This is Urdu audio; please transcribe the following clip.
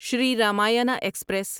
شری رمایانہ ایکسپریس